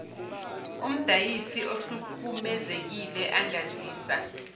umdayisi ohlukumezekile angazisa